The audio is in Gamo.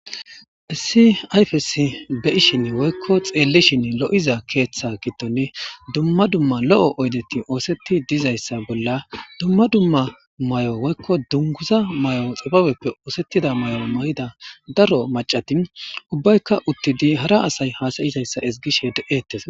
Issi ayfes beyishin woykko xeellishin lo'iza keeththa gidton dumma dumma lo'o oydeti oosetti dizayssa bolla dumma dumma may'o woykko dunguza may'o xababeppe oosettida may'o ma'ida daro macatin ubbaykka uttidi hara asay haasayizayssa isgishe de'ettes.